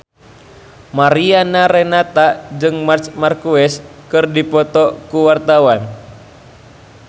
Mariana Renata jeung Marc Marquez keur dipoto ku wartawan